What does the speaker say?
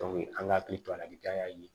an ka hakili to a lajali